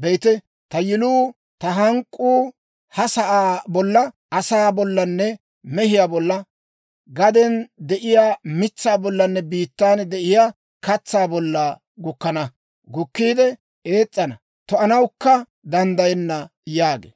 «Be'ite, ta yiluunne ta hank'k'uu ha sa'aa bolla, asaa bollanne mehiyaa bolla, gaden de'iyaa mitsaa bollanne biittan de'iyaa katsaa bolla gukkana. Gukkiide ees's'ana; to"anawukka danddayenna» yaagee.